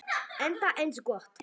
Enda eins gott.